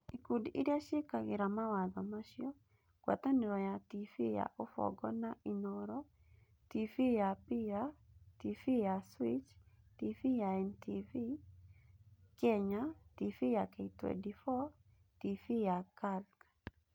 Ikundi iria ciĩkagĩra mawatho macio: Ngwatanĩro ya TV ya Ubongo na Inooro, TV ya Pillar, TV ya Switch, TV ya NTV Kenya, TV ya K24, TV ya Kirk.